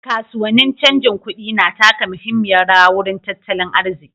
Kasuwannin canjin kuɗi na taka muhimmiyar rawa wurin tattalin arziƙi.